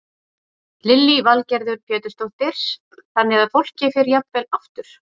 Lillý Valgerður Pétursdóttir: Þannig að fólki fer jafnvel aftur?